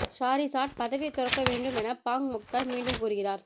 Shahrizat பதவி துறக்க வேண்டும் என பாங் மொக்தார் மீண்டும் கூறுகிறார்